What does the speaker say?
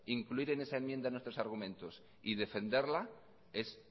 incluir en esa enmienda nuestros argumentos y defenderla es